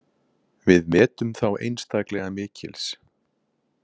Við metum þá einstaklega mikils.